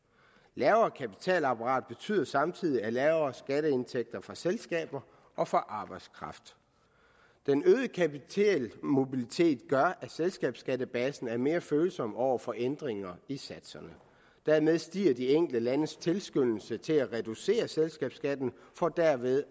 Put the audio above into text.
lavere kapitalapparat betyder samtidig lavere skatteindtægter fra selskaber og fra arbejdskraft den øgede kapitalmobilitet gør at selskabskattebasen er mere følsom over for ændringer i satserne dermed stiger de enkelte landes tilskyndelse til at reducere selskabsskatten for derved